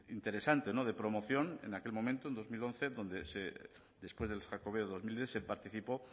interesante de promoción en aquel momento en dos mil once donde después del jacobeo dos mil diez se participó